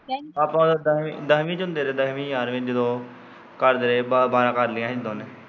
ਆਪਾਂ ਉਦੋਂ ਦਸਵੀਂ ਚ ਹੁੰਦੇ ਰਹੇ ਦਸਵੀਂ ਗਿਆਰਵੀਂ ਚ ਜਦੋਂ ਘਰਦਿਆਂ ਨੇ ਬਾਰਾਂ ਕਰ ਲਈਆਂ ਸੀ।